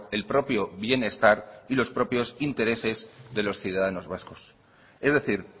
el propio bienestar y los propios intereses de los ciudadanos vascos es decir